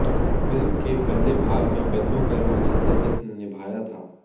film के पहले भाग में बल्लू का रोल संजय दत्त ने निभाया था